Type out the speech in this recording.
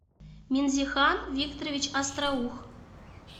минзихан викторович остроух